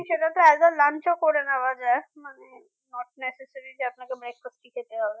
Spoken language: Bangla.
সেটা তো as a lunch ও করে নেওয়া যায় মানে not necessary যে আপনাকে breakfast ই খেতে হবে